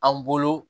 An bolo